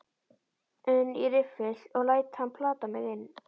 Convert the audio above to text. un í riffil og læt hann plata mig inn.